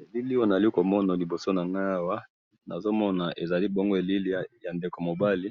Elili oyo nazalikomona liboso nangayi awa, nazomona ezali bongo elili yandeko mobali,